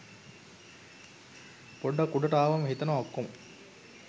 පොඩ්ඩක් උඩට අවම හිතනවා ඔක්කොම